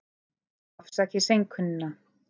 Afsakið seinkunina.